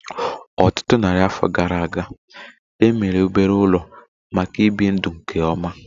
Ọtụtụ narị afọ gara aga, e mere obere ụlọ maka ibi ndụ nke ọma